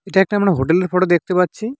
এটা একটা আমরা হোটেল -এর ফটো দেখতে পাচ্ছি।